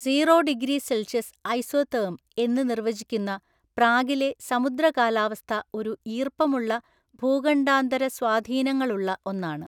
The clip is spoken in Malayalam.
സീറോ ഡിഗ്രി സെൽഷ്യസ് ഐസോതേർമ് എന്ന് നിർവചിക്കുന്ന പ്രാഗിലെ സമുദ്രകാലാവസ്ഥ ഒരു ഈർപ്പമുള്ള ഭൂഖണ്ഡാന്തര സ്വാധീനങ്ങളുള്ള ഒന്നാണ്.